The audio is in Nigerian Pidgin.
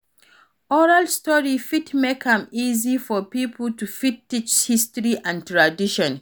Oral story fit make am easy for pipo to fit teach history and tradition